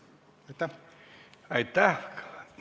Aitäh!